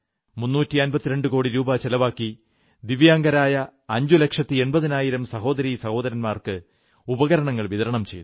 352 കോടി രൂപ ചിലവാക്കി ദിവ്യാംഗരായ അഞ്ചുലക്ഷത്തി എൺപതിനായിരം സഹോദരീ സഹോദരന്മാർക്ക് ഉപകരണങ്ങൾ വിതരണം ചെയ്തു